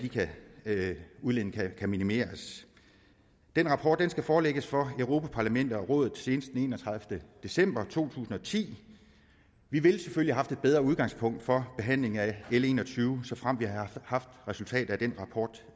udledningerne kan minimeres den rapport skal forelægges for europa parlamentet og rådet senest den enogtredivete december to tusind og ti vi ville selvfølgelig have haft et bedre udgangspunkt for behandlingen af l en og tyve såfremt vi havde haft resultatet af den rapport